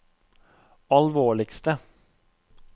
alvorligste